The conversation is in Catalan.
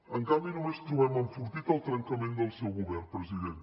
en canvi només trobem enfortit el trencament del seu govern president